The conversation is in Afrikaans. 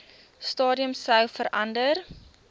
stadium sou verander